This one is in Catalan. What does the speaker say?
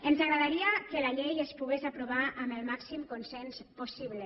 ens agradaria que la llei es pogués aprovar amb el màxim consens possible